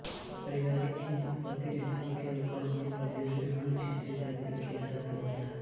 इस परिवारकी उत्पत्ति नेपालके कर्णाली प्रदेशमे अन्य क्षेत्री जातिके साथ हुआ था